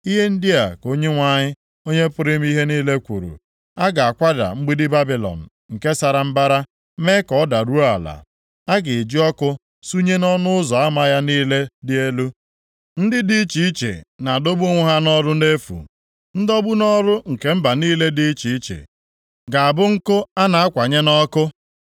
Ihe ndị a ka Onyenwe anyị, Onye pụrụ ime ihe niile kwuru, “A ga-akwada mgbidi Babilọn nke sara mbara, mee ka ọ daruo ala, a ga-eji ọkụ sunye nʼọnụ ụzọ ama ya niile dị elu. Ndị dị iche iche na-adọgbu onwe ha nʼọrụ nʼefu. Ndọgbu nʼọrụ nke mba niile dị iche iche ga-abụ nkụ a na-akwanye nʼọkụ.”